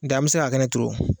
Nka an bɛ se ka kɛnɛ turu o.